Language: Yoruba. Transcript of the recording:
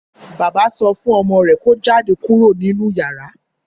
Bàbá sọ fún ọmọ rè kò jáde kúrò nínú yàrá.